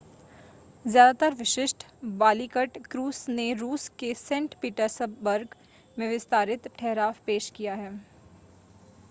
ज़्यादातर विशिष्ट Baltic cruise ने रूस के सेंट पीटर्सबर्ग में विस्तारित ठहराव पेश किया है